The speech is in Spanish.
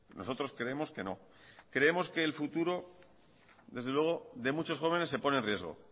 nosotros creemos que no creemos que el futuro desde luego de muchos jóvenes se pone en riesgo